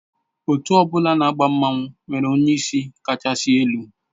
Otu ọ bụla na agba mmanwụ nwere onyeisi kachasị elu